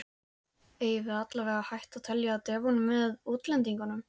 Eigum við allavega að hætta að telja Devon með útlendingunum?